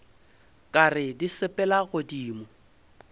ka re di sepela godimo